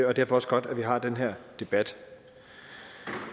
er derfor også godt at vi har den her debat